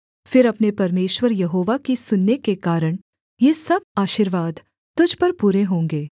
फिर अपने परमेश्वर यहोवा की सुनने के कारण ये सब आशीर्वाद तुझ पर पूरे होंगे